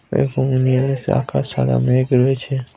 এখানে নীল আকাশ সাদা মেঘ রয়েছে।